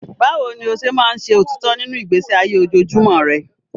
Báwo ni o ṣe máa ń ṣe òtítọ́ nínú ìgbésí ayé ojoojúmọ́ rẹ?